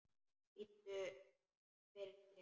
Biddu fyrir þér!